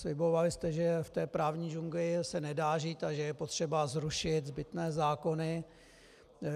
Slibovali jste, že v té právní džungli se nedá žít a že je potřeba zrušit zbytné zákony.